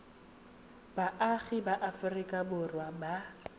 baagi ba aforika borwa ba